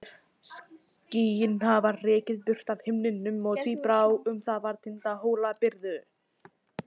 Skýin hafði rekið burt af himninum og tíbrá var um tinda Hólabyrðu.